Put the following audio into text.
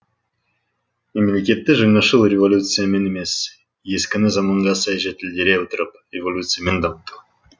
мемлекетті жаңашыл революциямен емес ескіні заманға сай жетілдере отырып эволюциямен дамыту